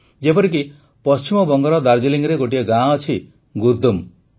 ଯେପରିକି ପଶ୍ଚିମବଙ୍ଗର ଦାର୍ଜିଲିଂରେ ଗୋଟିଏ ଗାଁ ଅଛି ଗୁର୍ଦୁମ୍